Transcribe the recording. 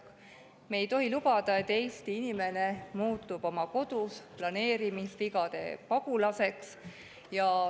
Me ei tohi lubada, et Eesti inimene muutub planeerimisvigade tõttu oma kodus pagulaseks.